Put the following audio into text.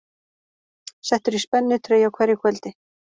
Settur í spennitreyju á hverju kvöldi